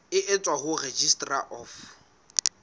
e tswang ho registrar of